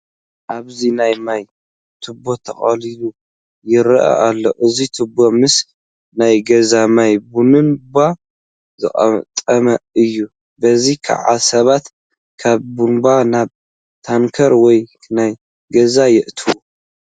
ኣብዚ ናይ ማይ ቱቦ ተጠቕሊሉ ይርአ ኣሎ፡፡ እዚ ቱቦ ምስ ናይ ገዛ ማይ ቡንባ ዝገጥም እዩ፡፡ በዚ ከዓ ሰባት ካብ ቡንባ ናብ ታንከር ወይ ናብ ገዛ የእትዉ፡፡